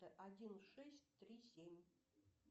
один шесть три семь